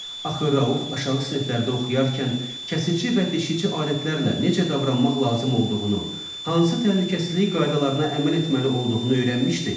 Axı Rauf aşağı siniflərdə oxuyarkən kəsici və deşici alətlərlə necə davranmaq lazım olduğunu, hansı təhlükəsizlik qaydalarına əməl etməli olduğunu öyrənmişdi.